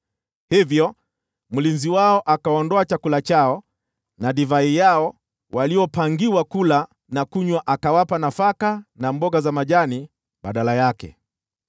Hivyo mlinzi wao akaondoa chakula chao na divai yao waliopangiwa kula na kunywa, akawapa nafaka na mboga za majani badala yake.